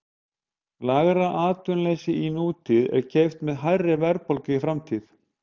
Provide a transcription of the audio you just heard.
Lægra atvinnuleysi í nútíð er keypt með hærri verðbólgu í framtíð.